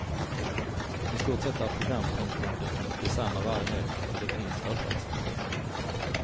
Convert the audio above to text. I stort sett är programpunkterna desamma varje helg, men det finns överraskningar.